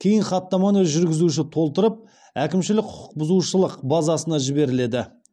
кейін хаттаманы жүргізуші толтырып әкімшілік құқық бұзушылық базасына жіберіледі